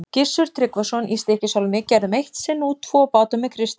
Gissur Tryggvason í Stykkishólmi gerðum eitt sinn út tvo báta með Kristjáni.